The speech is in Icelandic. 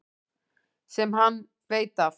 Sem hann veit af.